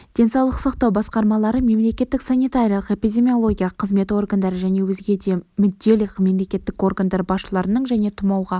денсаулық сақтау басқармалары мемлекеттік санитариялық-эпидемиологиялық қызмет органдары және өзге де мүдделі мемлекеттік органдар басшыларының және тұмауға